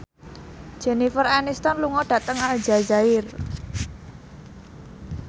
Jennifer Aniston lunga dhateng Aljazair